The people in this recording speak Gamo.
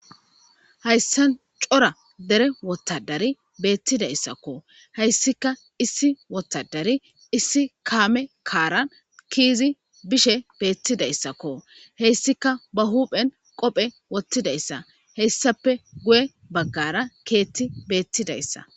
Hayisan cora dere wotadari beettidayssakko hayssika issi wotadari issi kaame kaaran kiizi bishe beettidayssakko heyssika ba huphen qophe wottidayssa heyssape guye baggara keetti beettidayssa